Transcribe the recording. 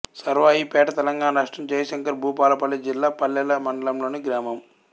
సర్వాయిపేట్ తెలంగాణ రాష్ట్రం జయశంకర్ భూపాలపల్లి జిల్లా పల్మెల మండలంలోని గ్రామం